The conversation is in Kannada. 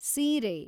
ಸೀರೆ